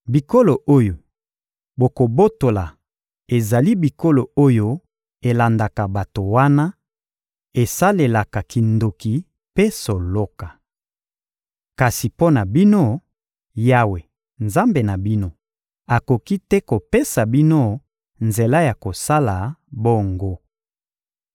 Bikolo oyo bokobotola ezali bikolo oyo elandaka bato wana, esalelaka kindoki mpe soloka. Kasi mpo na bino, Yawe, Nzambe na bino, akoki te kopesa bino nzela ya kosala bongo.